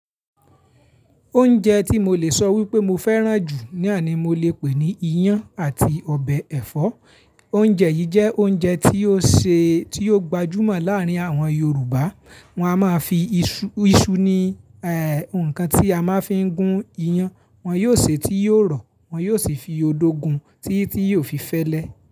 Oúnjẹ tí mo lè sọ wípé mo fẹ́ràn jù ní àní mo le pè ní iyán àti ọbẹ̀ ẹ̀fọ́. Oúnjẹ yìí jẹ́ oúnjẹ tí ó ṣe tí ó gbajúmọ̀ láàárin àwọn Yorùbá. Wọn a máa fi iṣu, iṣu ni nǹkan tí a máa fi ń gún iyán. Wọn yóò sè tí yóò rọ̀, wọn yóò sì fi odó gun tí tí yóò fi fẹ́lẹ́